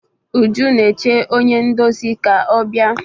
Uju na-eche onye ndozi ka ọ bịa.